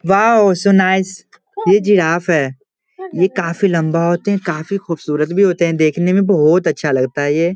Wow so nice ये giraffe है ये कार्फी लम्बा होते है काफी खूबसूरत भी होते है देखने में बोहोत अच्छा लगता है ये।